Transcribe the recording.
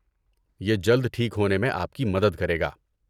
یہ جلد ٹھیک ہونے میں آپ کی مدد کرے گا۔